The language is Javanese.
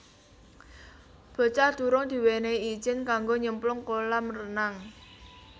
Bocah durung diwenehi ijin kanggo nyemplung kolam renang